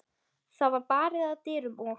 Það var barið að dyrum og